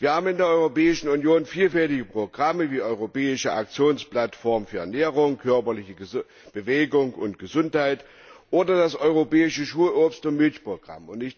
Wir haben in der Europäischen Union vielfältige Programme wie Europäische Aktionsplattform für Ernährung, körperliche Bewegung und Gesundheit oder das Europäische Schulobst und Schulmilchprogramm.